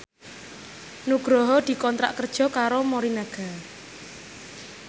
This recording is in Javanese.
Nugroho dikontrak kerja karo Morinaga